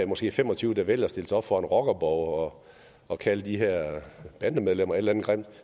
måske fem og tyve der vælger at stille sig op foran rockerborge og kalde de her bandemedlemmer et eller andet grimt